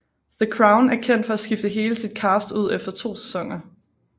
The Crown er kendt for at skifte hele sit cast ud efter 2 sæsoner